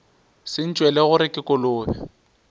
se ntšwele gore ke kolobe